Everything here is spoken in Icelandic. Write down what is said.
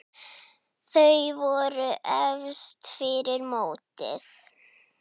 Þau voru efst fyrir mótið.